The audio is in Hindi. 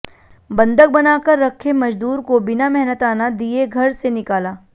बंधक बनाकर रखे मजदूर को बिना मेहनताना दिये घर से निकाला